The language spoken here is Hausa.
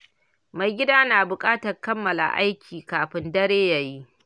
Mai gida na buƙatar kammala aikin kafin dare ya yi.